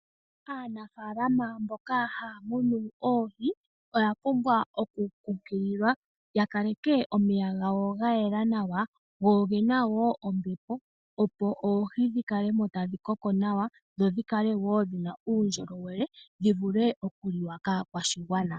Aanafaalama mboka haya munu oohi oya pumbwa okukunkililwa yakaleke omeya gawo gayela nawa, go ogena wo ombepo opo oohi dhikale mo tadhi koko nawa dho dhikale wo dhina uundjolowele dhivule okuliwa kaakwashigwana.